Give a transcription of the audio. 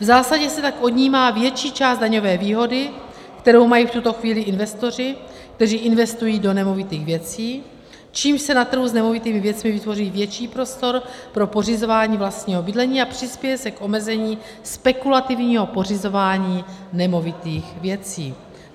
V zásadě se tak odnímá větší část daňové výhody, kterou mají v tuto chvíli investoři, kteří investují do nemovitých věcí, čímž se na trhu s nemovitými věcmi vytvoří větší prostor pro pořizování vlastního bydlení a přispěje se k omezení spekulativního pořizování nemovitých věcí.